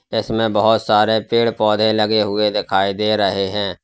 इसमें बहोत सारे पेड़ पौधे लगे हुए दिखाई दे रहे हैं।